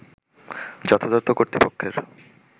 যথাযত কর্তৃপক্ষের